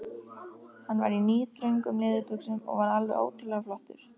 Hann var í níðþröngum leðurbuxum og var alveg ótrúlega flottur.